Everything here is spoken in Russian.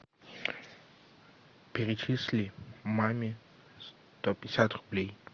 перечисли маме сто пятьдесят рублей